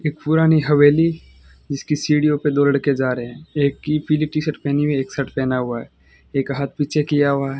एक पुरानी हवेली जिसकी सीढियों पे दो लड़के जा रहे हैं एक की पीली टी शर्ट पहनी हुई एक शर्ट पहना हुआ है एक हाथ पीछे किया हुआ है।